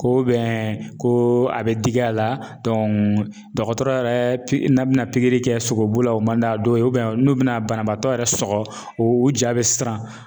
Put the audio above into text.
Ko ko a bɛ digi a la dɔgɔtɔrɔ yɛrɛ n'a bina kɛ sogobu la o man d'a dɔw ye n'u bɛna banabaatɔ yɛrɛ sɔgɔ o ja bɛ siran.